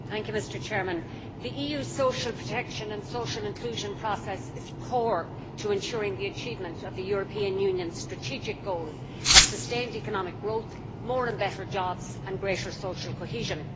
Mr President, the EU's social protection and social inclusion process is core to ensuring the achievement of the European Union's strategic goal of sustained economic growth, more and better jobs and greater social cohesion.